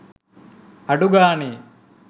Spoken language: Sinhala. අඩු ගාණෙ